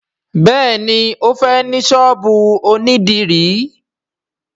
béèni o fè ní sọ́ọ̀bù òní dirun.